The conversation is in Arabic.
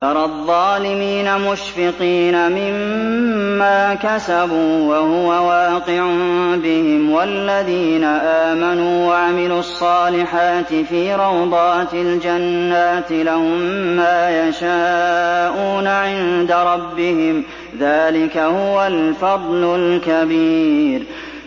تَرَى الظَّالِمِينَ مُشْفِقِينَ مِمَّا كَسَبُوا وَهُوَ وَاقِعٌ بِهِمْ ۗ وَالَّذِينَ آمَنُوا وَعَمِلُوا الصَّالِحَاتِ فِي رَوْضَاتِ الْجَنَّاتِ ۖ لَهُم مَّا يَشَاءُونَ عِندَ رَبِّهِمْ ۚ ذَٰلِكَ هُوَ الْفَضْلُ الْكَبِيرُ